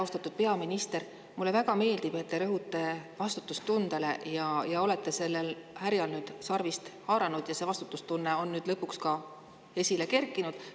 Austatud peaminister, mulle väga meeldib, et te rõhute vastutustundele ja olete sellel härjal nüüd sarvist haaranud ja see vastutustunne on nüüd lõpuks esile kerkinud.